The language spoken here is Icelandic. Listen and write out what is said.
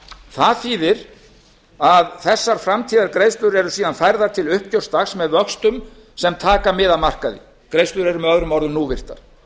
það þýðir að þessar framtíðargreiðslur eru síðan færðar til uppgjörsdags með vöxtum sem taka mið af markaði greiðslur eru með öðrum orðum núvirtar